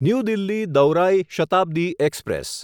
new Delhi દૌરાઈ Shatabdi express